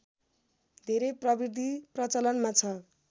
धेरै प्रविधि प्रचलनमा छ